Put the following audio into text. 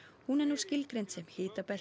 hún er nú skilgreind sem